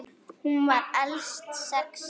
Hún var elst sex systra.